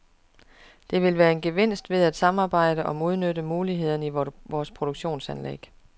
Der vil være en gevinst ved at samarbejde om at udnytte mulighederne i vores produktionsanlæg.